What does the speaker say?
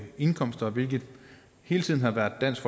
indkomster hvilket hele tiden har været dansk